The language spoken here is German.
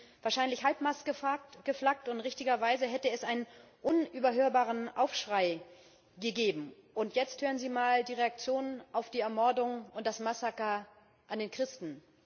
Wir hätten wahrscheinlich Halbmast geflaggt, und richtigerweise hätte es einen unüberhörbaren Aufschrei gegeben. Und jetzt hören Sie mal die Reaktionen auf die Ermordungen, auf das Massaker an den Christen.